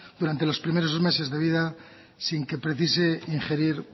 durante los primeros meses de vida sin que precise ingerir